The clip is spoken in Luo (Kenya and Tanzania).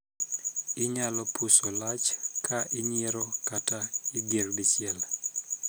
Inyalo puso lach ka inyiero kata igir dichiel.